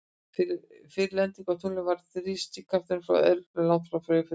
Fyrir lendingu á tunglinu var þrýstikrafturinn frá eldflauginni langt frá fullum styrk.